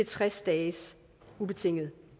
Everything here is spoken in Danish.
tres dages ubetinget